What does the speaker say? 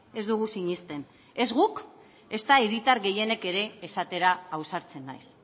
ez dugu sinesten ez guk ezta hiritar gehienek ere esatera ausartzen naiz